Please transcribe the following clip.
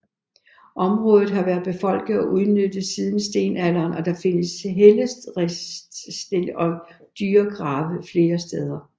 Området har været befolket og udnyttet siden stenalderen og der findes helleristninger og dyregrave flere steder